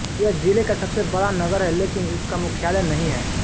यह ज़िले का सबसे बड़ा नगर है लेकिन उसका मुख्यालय नहीं है